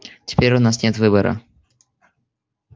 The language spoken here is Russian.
теперь у нас нет выбора